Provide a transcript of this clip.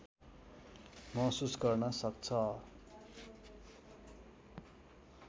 महसुस गर्न सक्छ